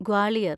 Gwalior